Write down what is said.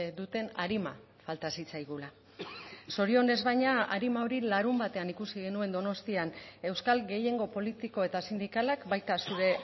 duten arima falta zitzaigula zorionez baina arima hori larunbatean ikusi genuen donostian euskal gehiengo politiko eta sindikalak baita zure